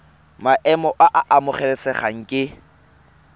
maemo a a amogelesegang ke